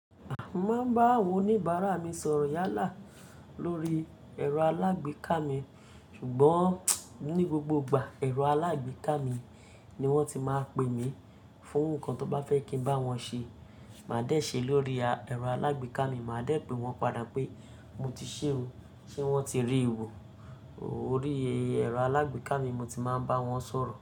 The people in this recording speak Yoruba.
A máà ń bá àwọn oníbàárà mi sọ̀rọ̀ yálà lórí ẹ̀rọ alágbèéká mi, ṣùgbọ́n ní gbogbo ìgbà ẹ̀rọ alágbèéká mi ni wọ́n ti máa pè mí fún nǹkan tó bá fẹ́ kí ń bá wọn ṣe. Màá dé ṣe lórí ẹ̀rọ alágbèéká mi, màá dé pe wọ́n padà pé mo ti ṣe o ṣe wọ́n ti rí i wò. Orí ẹ̀rọ alágbèéká mi mo ti máa ń bá wọn sọ̀rọ̀.